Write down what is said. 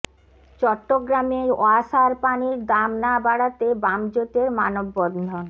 চট্টগ্রামে ওয়াসার পানির দাম না বাড়াতে বাম জোটের মানববন্ধন